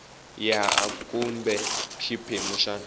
ya a kumbe xiphemu xa